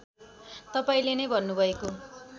तपाईँले नै भन्नुभएको